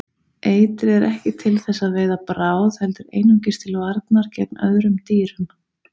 Eitrið er ekki til þess að veiða bráð heldur einungis til varnar gegn öðrum dýrum.